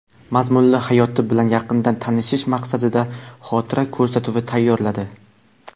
mazmunli hayoti bilan yaqindan tanishish maqsadida xotira ko‘rsatuvi tayyorladi.